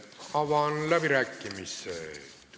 Avan läbirääkimised.